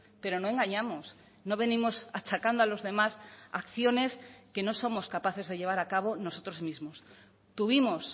pero no engañamos no venimos achacando a los demás acciones que no somos capaces de llevar a cabo nosotros mismos tuvimos